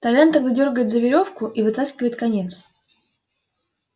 толян тогда дёргает за верёвку и вытаскивает конец